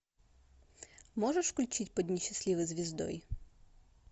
можешь включить под несчастливой звездой